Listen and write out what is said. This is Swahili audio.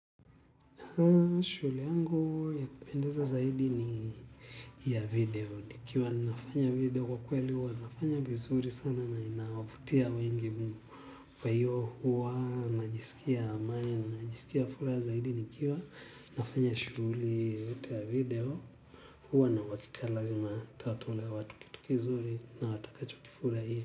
Shule yangu ya kupendeza zaidi ni ya video. Nikiwa nafanya video kwa kweli huwa nafanya vizuri sana na inawavutia wengi mno. Kwa hiyo huwa najisikia amani na najisikia furaha zaidi nikiwa. Nafanya shughuli yoyote ya video. Huwa na uhakika lazima nitawatolea watu kitu kizuri na watakacho kifurahia.